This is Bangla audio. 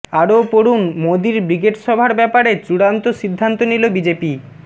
আরও পড়ুন মোদীর ব্রিগেড সভার ব্যাপারে চূড়ান্ত সিদ্ধান্ত নিল বিজেপি